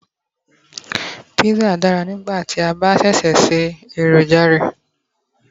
pizza dára nigba ti a ba ṣẹ̀ ṣe eroja rẹ